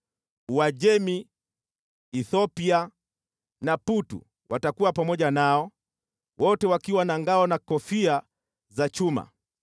Uajemi, Kushi na Putu watakuwa pamoja nao, wote wakiwa na ngao na kofia za chuma,